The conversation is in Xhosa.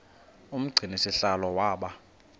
umgcini sihlalo waba